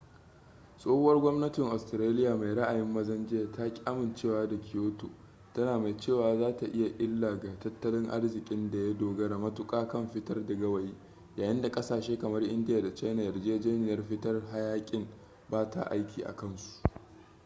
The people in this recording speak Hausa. tsohuwar gwamnatin australia mai ra'ayin mazan jiya ta ki amincewa da kyoto tana mai cewa za ta yi illaga tattalin arzikin da ya dogara matuƙa kan fitar da gawayi yayin da ƙasashe kamar india da china yarjejeniyar fitar hayaƙin ba ta aiki a kansu